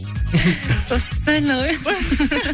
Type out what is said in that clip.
ол специально ғой